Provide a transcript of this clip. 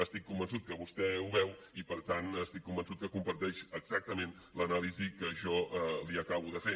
estic convençut que vostè ho veu i per tant estic convençut que comparteix exactament l’anàlisi que jo li acabo de fer